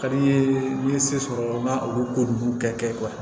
Ka di i ye n'i ye se sɔrɔ n ka olu ko ninnu kɛ